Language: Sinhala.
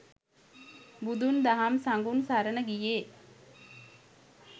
බුදුන්, දහම්, සඟුන් සරණ ගියේ